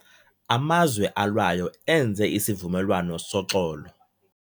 Amazwe alwayo enze isivumelwano soxolo.